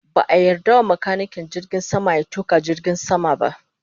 Ba a yarda wa makanikin jirgin sama ya tuka jirgin sama ba